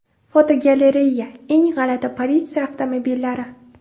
Fotogalereya: Eng g‘alati politsiya avtomobillari.